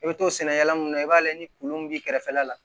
I bɛ to sɛnɛkɛla mun na i b'a ye ni kolon min b'i kɛrɛfɛla la